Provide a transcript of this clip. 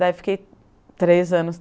Daí fiquei três anos.